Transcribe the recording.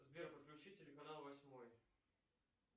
сбер подключи телеканал восьмой